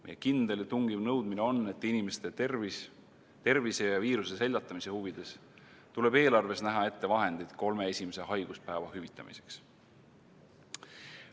Meie kindel ja tungiv nõudmine on, et inimeste tervise huvides ja viiruse seljatamise huvides tuleb eelarves näha ette vahendid kolme esimese haiguspäeva hüvitamiseks.